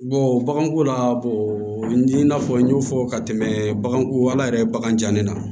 baganko la n'i na na fɔ n y'o fɔ ka tɛmɛ bagan yɛrɛ ye bagan ja ne na